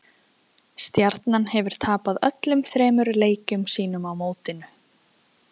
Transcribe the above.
Stjarnan hefur tapað öllum þremur leikjum sínum á mótinu.